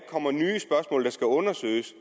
og der skal undersøges